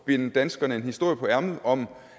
binde danskerne en historie på ærmet om